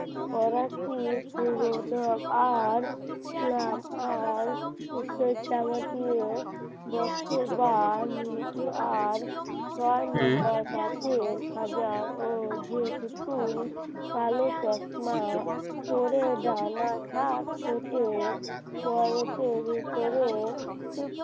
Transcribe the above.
ছয় number যেই পুতুল ডানা কেটে গাড়িতে উঠে ডানা ঝাপটায়